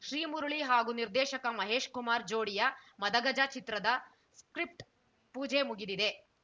ಶ್ರೀಮುರಳಿ ಹಾಗೂ ನಿರ್ದೇಶಕ ಮಹೇಶ್‌ ಕುಮಾರ್‌ ಜೋಡಿಯ ಮದಗಜ ಚಿತ್ರದ ಸ್ಕ್ರಿಪ್ಟ್‌ ಪೂಜೆ ಮುಗಿದಿದೆ